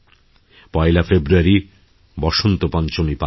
১ ফেব্রুয়ারি বসন্ত পঞ্চমী পালনহবে